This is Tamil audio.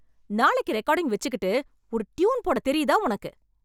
நாளைக்கி ரெக்கார்டிங் வெச்சிக்கிட்டு, ஒரு டியூன் போட தெரியுதா உனக்கு?